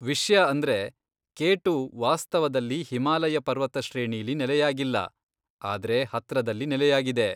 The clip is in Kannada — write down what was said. ವಿಷ್ಯ ಅಂದ್ರೆ ಕೆ ಟು ವಾಸ್ತವದಲ್ಲಿ ಹಿಮಾಲಯ ಪರ್ವತ ಶ್ರೇಣಿಲೀ ನೆಲೆಯಾಗಿಲ್ಲ, ಆದ್ರೆ ಹತ್ರದಲ್ಲಿ ನೆಲೆಯಾಗಿದೆ.